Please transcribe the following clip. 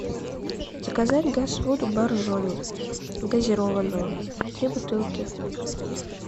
заказать газ воду боржоми газированную три бутылки